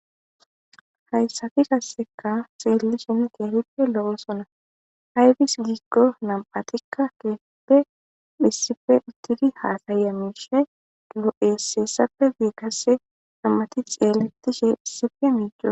Hayssafi kasseka xeelli shenn kee hiccu lo'o sona ayfis giggo nam'atikka keefeppe phissife ittidi haasayamishe ulo'esseessafe biikasse nammati xeeletishe phisife miicue.